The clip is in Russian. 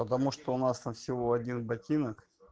потому что у нас там всего один ботинок